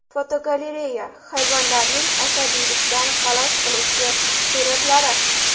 Fotogalereya: Hayvonlarning asabiylikdan xalos qiluvchi suratlari.